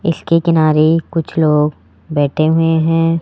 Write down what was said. इसके किनारे कुछ लोग बैठे हुए हैं।